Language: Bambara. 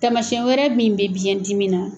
Tamasiɲɛn wɛrɛ min bɛ biyɛn dimi na